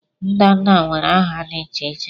ndanda nwere nha dị iche iche